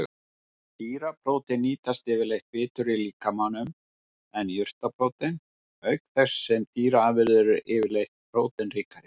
Dýraprótein nýtast yfirleitt betur í líkamanum en jurtaprótein, auk þess sem dýraafurðirnar eru yfirleitt próteinríkari.